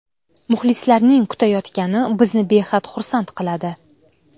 Muxlislarning kutayotgani bizni behad xursand qiladi.